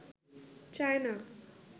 China